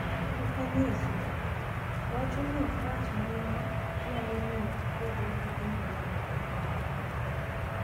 Okanyisu, wachuni ok rach mana ma nyalo miyo ipogri gi anyuolani e yor lal.